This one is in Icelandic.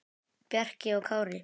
Bjarki og Kári.